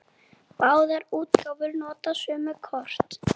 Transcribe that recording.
Báðar útgáfur nota sömu kort.